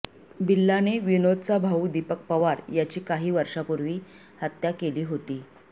बिल्लाने विनोदचा भाऊ दिपक पवार याची काही वर्षांपूर्वी हत्या केली होती